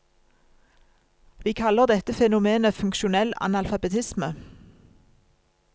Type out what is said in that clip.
Vi kaller dette fenomenet funksjonell analfabetisme.